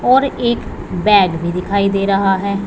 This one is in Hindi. और एक बैग भी दिखाई दे रहा है।